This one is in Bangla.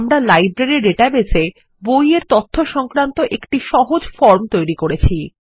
আমরা লাইব্রেরী ডাটাবেসের মধ্যে বই এরতথ্য সংক্রান্ত একটি সহজ ফর্ম তৈরি করেছি